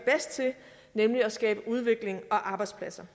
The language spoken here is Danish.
nemlig at skabe udvikling og arbejdspladser